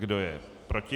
Kdo je proti?